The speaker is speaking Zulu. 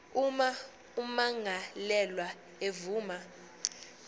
uma ummangalelwa evuma